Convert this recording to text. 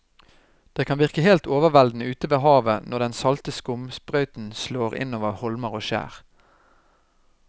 Det kan virke helt overveldende ute ved havet når den salte skumsprøyten slår innover holmer og skjær.